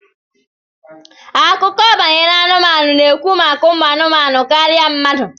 Akụkọ banyere anụmanụ na-ekwu maka umu anumanu karịa mmadụ